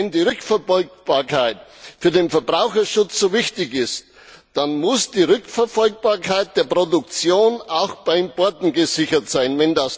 Wenn die Rückverfolgbarkeit für den Verbraucherschutz so wichtig ist, dann muss die Rückverfolgbarkeit der Produktion auch bei Importen gesichert sein.